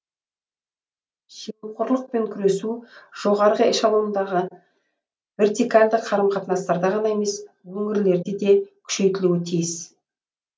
жемқорлықпен күресу жоғарғы эшелондағы вертикальді қарым қатынастарда ғана емес өңірлерде де күшейтілуі тиіс